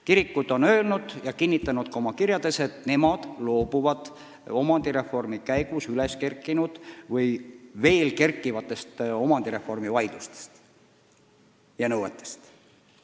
Kirikud on ka oma kirjades kinnitanud, et nemad loobuvad omandireformi käigus üles kerkinud või veel kerkivatest omandireformi vaidlustest ja nõuetest.